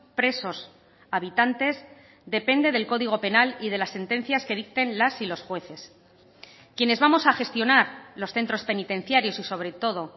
presos habitantes depende del código penal y de las sentencias que dicten las y los jueces quienes vamos a gestionar los centros penitenciarios y sobre todo